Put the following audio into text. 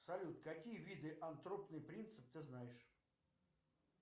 салют какие виды антропный принцип ты знаешь